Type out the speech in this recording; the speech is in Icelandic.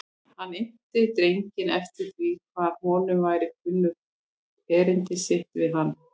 Hann innti drenginn eftir því hvort honum væri kunnugt erindi sitt við hann.